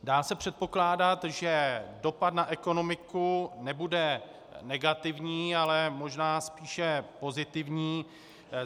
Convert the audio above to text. Dá se předpokládat, že dopad na ekonomiku nebude negativní, ale možná spíše pozitivní.